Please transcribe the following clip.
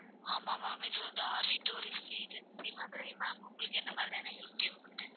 ஆமா ma'am இது வந்து R V tourist agency Madurai ma'am உங்களுக்கு என்ன மாதிரியான help தேவைப்படுது